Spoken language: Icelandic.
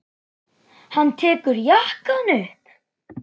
Hann tekur jakkann upp.